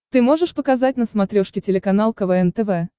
ты можешь показать на смотрешке телеканал квн тв